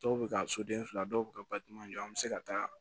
Dɔw bɛ ka soden fila dɔw bɛ ka batima jɔ an bɛ se ka taa